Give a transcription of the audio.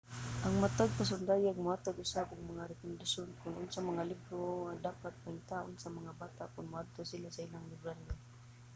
ang matag pasundayag mohatag usab og mga rekomendasyon kon unsang mga libro ang dapat pangitaon sa mga bata kon moadto sila sa ilang librarya